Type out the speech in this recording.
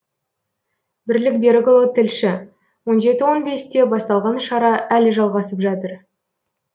бірлік берікұлы тілші он жеті он бесте басталған шара әлі жалғасып жатыр